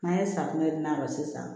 N'an ye safunɛ d'a ma sisan